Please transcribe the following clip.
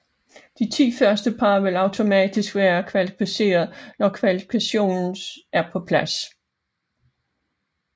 De 10 første par vil automatisk være kvalificeret når holdkvalifikationen er på plads